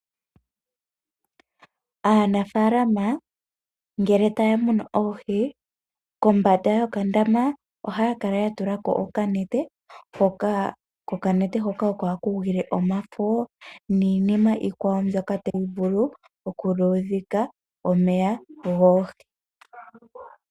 Aanafaalama ngele taya munu oohi kombaanda yokandama ohaya kala ya tulako okanete ,,kokanete hoka oko haku gwile omafo niinima iikwawo mbyoka tayi vulu oku luushika omeya goohi.